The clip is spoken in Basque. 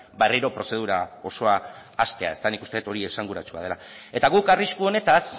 berriro prozedura osoa hastea ezta nik uste dut hori esanguratsua dela eta guk arrisku honetaz